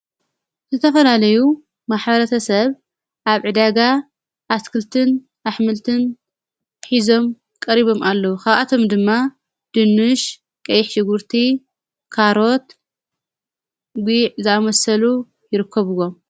ዝተፈላለዩ ማኅበረተ ሰብ ኣብ ዕደጋ ኣስክልትን ኣኅምልትን ኂዞም ቀሪቦም ኣለዉ ኸብኣቶም ድማ ድኑሽ፣ ቀይሕጉርቲ ካሮት፣ ጊዊዕ ዝኣመሰሉ ይርከብዎም።